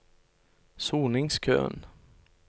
soningskøen